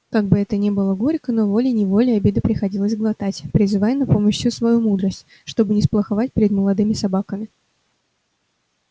как бы это ни было горько но волей неволей обиды приходилось глотать призывая на помощь всю свою мудрость чтобы не сплоховать перед молодыми собаками